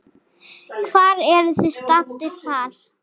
Hvar eruð þið staddir þar?